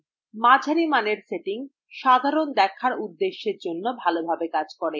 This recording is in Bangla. মাঝারি মানের setting সাধারণ দেখার উদ্দেশ্যএর জন্য ভালোভাবে কাজ করে